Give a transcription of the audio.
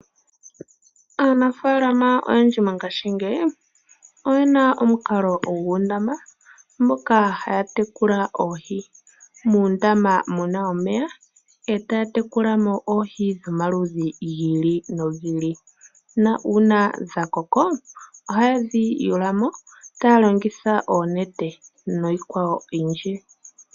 Aanafaalama oyendji mongaashingeyi oyena omukalo guundama moka haya tekula oohi, muundama muna omeya e taya tekula mo oohi dhomaludhi giili nogiili, ma uuna dhakoko ohaye dhi tula mo taya longitha oonete noyikwawo oyindji.